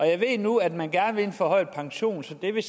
jeg ved nu at man gerne vil have en forhøjet pensionsalder